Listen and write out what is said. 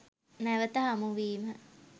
නැවත හමු වීම